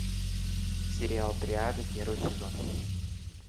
сериал триада первый сезон